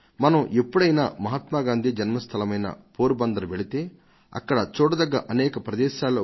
మనం ఎప్పుడైనా మహాత్మా గాంధీ జన్మ స్థలమైన పోరబందర్ కు వెళితే అక్కడ మనం చూసే అనేక ప్రదేశాలలో